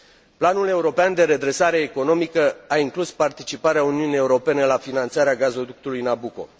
Planul european de redresare economică a inclus participarea Uniunii Europene la finanțarea gazoductului Nabucco.